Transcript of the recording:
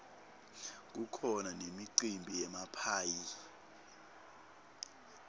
kukhona nemicimbi yemaphayhi